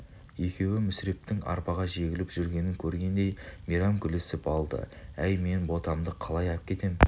екеуі мүсірептің арбаға жегіліп жүргенін көргендей мейрам күлісіп алды әй мен ботамды қалай әкетем